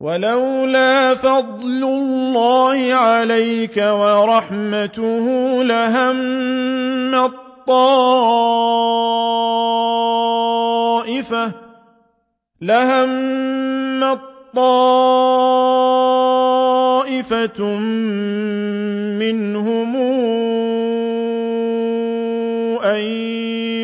وَلَوْلَا فَضْلُ اللَّهِ عَلَيْكَ وَرَحْمَتُهُ لَهَمَّت طَّائِفَةٌ مِّنْهُمْ أَن